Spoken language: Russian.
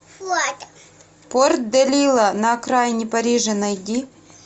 порт де лила на окраине парижа найди